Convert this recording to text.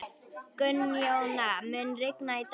Gunnjóna, mun rigna í dag?